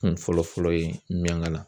Kun fɔlɔ fɔlɔ ye miɲankala